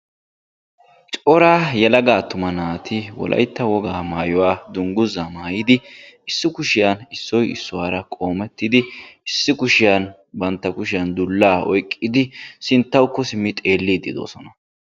Cora yelaga attuma naati wolaytta wogaa maayuwa dungguzaa maayidi issi kushiyan Issoyi issuwara qoomettidi issi kushiyan bantta kushiyan dullaa oyqqidi sinttawukko simmidi xeelliiddi doosona.